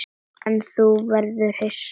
En nú verður þú hissa!